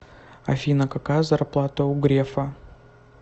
афина какая зарплата у грефа